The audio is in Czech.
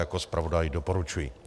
Jako zpravodaj doporučuji.